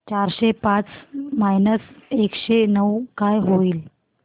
चारशे पाच मायनस एकशे नऊ काय होईल